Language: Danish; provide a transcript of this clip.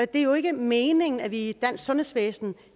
det er jo ikke meningen at midlerne i et dansk sundhedsvæsen